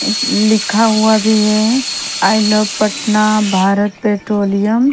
लिखा हुआ भी हैं I love Patna Bharat petroleum --